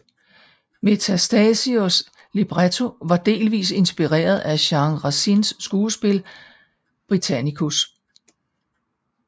Metastasios libretto var delvist inspireret af Jean Racines skuespil Britannicus